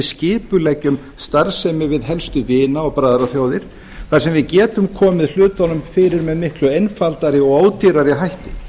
skipuleggjum starfsemi við helstu vina og bræðraþjóðir þar sem við getum komið hlutunum fyrir með miklu einfaldari og ódýrari hætti